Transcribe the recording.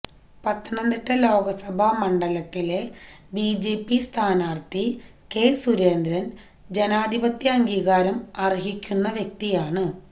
പത്തനംതിട്ട ലോക്സഭ മണ്ഡലത്തിലെ ബിജെപി സ്ഥാനാർത്ഥി കെ സുരേന്ദ്രൻ ജനാധിപത്യ അംഗീകാരം അർഹിക്കുന്ന വ്യക്തിയാണ്